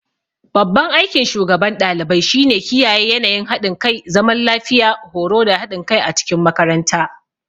Babban aikin shugaban ɗalibai shine kiyaye yanayin haɗin kai, zaman lafiya, horo da haɗin kai a cikin makaranta.